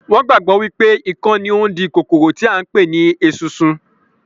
Wọn gbàgbọ́ wípé ikán ni ó ń di kòkòrò tí à ń pè ní esunsun